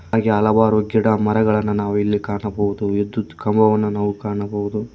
ಹಾಗೆ ಹಲವಾರು ಗಿಡಮರಗಳನ್ನು ನಾವು ಇಲ್ಲಿ ಕಾಣಬಹುದು ವಿದ್ಯುತ್ ಕಂಬವನ್ನು ನಾವು ಕಾಣಬಹುದು.